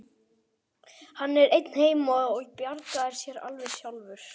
Hann er einn heima og bjargar sér alveg sjálfur.